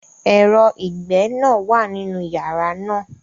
Ẹ̀rọ ìgbẹ́ náà wà nínú yàrá náà.